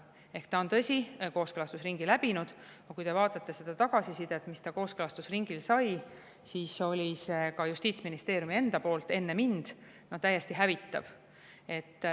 Eelnõu on, tõsi, kooskõlastusringi läbinud, aga kui te vaatate tagasisidet, mis ta kooskõlastusringil sai, siis oli see ka Justiitsministeeriumi enda poolt enne mind täiesti hävitav.